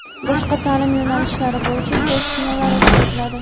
boshqa ta’lim yo‘nalishlari bo‘yicha test sinovlari o‘tkaziladi;.